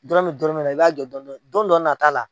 Dɔrɔmɛ dɔrɔmɛ la i b'a jɔ dɔɔni dɔɔni don dɔ nata la.